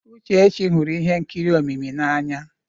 Uchechi hụrụ ihe nkiri omimi n'anya.